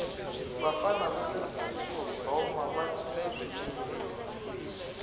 vafana vale sodomava cina swinene